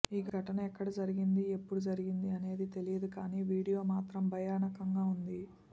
ఈ ఘటన ఎక్కడ జరిగింది ఎప్పుడు జరిగింది అనేది తెలియదు కానీ వీడియో మాత్రం భయానకంగా ఉంది